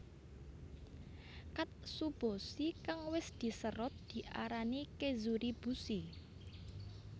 Katsuobushi kang wis diserut diarani kezuribushi